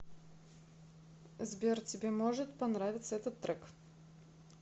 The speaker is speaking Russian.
сбер тебе может понравиться этот трек